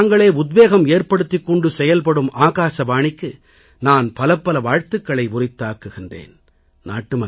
தங்களுக்குத் தாங்களே உத்வேகம் ஏற்படுத்திக் கொண்டு செயல்படும் ஆகாசவாணிக்கு நான் பலப்பல வாழ்த்துகளை உரித்தாக்குகிறேன்